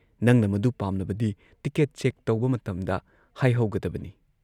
ꯅꯪꯅ ꯃꯗꯨ ꯄꯥꯝꯂꯕꯗꯤ ꯇꯤꯀꯦꯠ ꯆꯦꯛ ꯇꯧꯕ ꯃꯇꯝꯗ, ꯍꯥꯏꯍꯧꯒꯗꯕꯅꯤ ꯫"